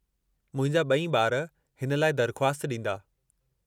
मुंहिंजा ॿई ॿारु हिन लाइ दरख़्वास्त ॾींदा।